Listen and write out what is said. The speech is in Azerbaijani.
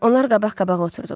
Onlar qabaq-qabağa oturdular.